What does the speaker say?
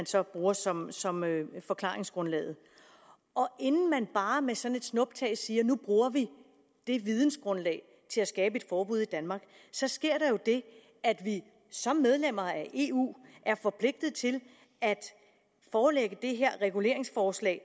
så bruger som som forklaringsgrundlag inden man bare med sådan et snuptag siger at nu bruger vi det vidensgrundlag til at skabe et forbud i danmark sker der det at vi som medlemmer af eu er forpligtet til at forelægge det her reguleringsforslag